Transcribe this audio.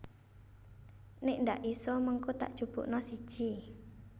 Nek ndak iso mengko tak jupukno siji